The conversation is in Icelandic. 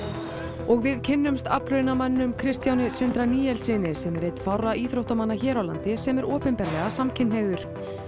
og við kynnumst Kristjáni Sindra Níelssyni sem er einn fárra íþróttamanna hér á landi sem er opinberlega samkynhneigður